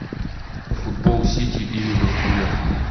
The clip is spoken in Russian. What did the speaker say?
футбол сити и ливерпуля